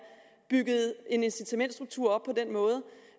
bygget en incitamentsstruktur op på den måde